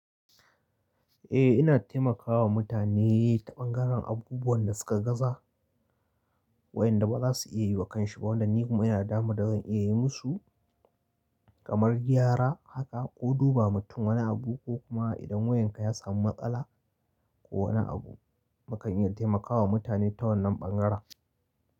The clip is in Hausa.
Eh ina taimakawa mutane ta ɓangaren abubuwan da suka gaza wayanda ba za su iya yi wa kansu ba. Wanda ni kuma ina daman da zan iya yi musu kamar gyara haka ko dubawa mutum wani abu ko kuma idan wayanka ya samu matsala ko wani abu mukan iya taimakawa mutane ta wannan ɓangaren.